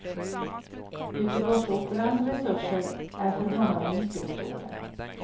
Göteborgsoperans resurser är för honom en nyckelfråga.